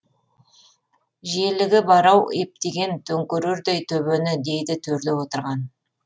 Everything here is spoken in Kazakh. желігі бар ау ептеген төңкерердей төбені дейді төрлі отырған